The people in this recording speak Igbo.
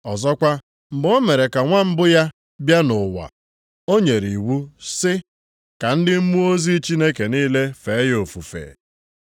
Ọzọkwa, mgbe o mere ka nwa mbụ ya bịa nʼụwa, o nyere iwu sị, “Ka ndị mmụọ ozi Chineke niile fee ya ofufe.” + 1:6 \+xt Dit 32:43\+xt*